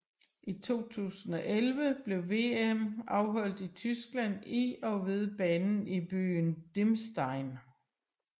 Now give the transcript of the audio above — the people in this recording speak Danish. I 2011 blev VM afholdt i Tyskland i og ved banen i byen Dirmstein